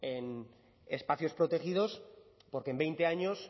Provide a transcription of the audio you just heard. en espacios protegidos porque en veinte años